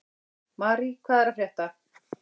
Mari, hvað er að frétta?